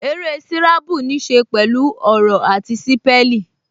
Eré sírábù ní ṣe pẹ̀lú ọ̀rọ̀ àti sípẹ́lìn